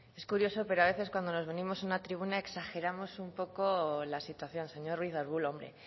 es curioso pero a veces cuando nos venimos a una tribuna exageramos un poco la situación señor ruiz de argulo hombre